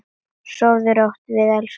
Sofðu rótt, við elskum þig.